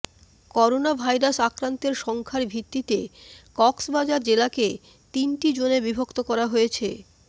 coronavirus আক্রান্তের সংখ্যার ভিত্তিতে কক্সবাজার জেলাকে তিনটি জোনে বিভক্ত করা হয়েছে